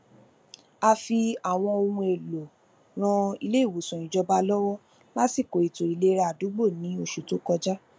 a fi àwọn ohun èlò ran iléìwòsàn ìjọba lọwọ lásìkò ètò ìlera àdúgbò ní oṣù tó kọjá